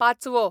पाचवो